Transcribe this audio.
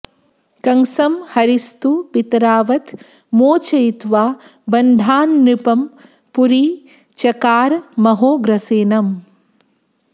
कंसं हरिस्तु पितरावथ मोचयित्वा बन्धान्नृपं पुरि चकार महोग्रसेनम्